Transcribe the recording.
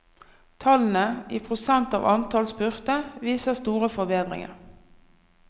Tallene, i prosent av antall spurte, viser store forbedringer.